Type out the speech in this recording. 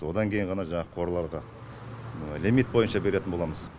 одан кейін ғана жаңағы қораларға лимит бойынша беретін боламыз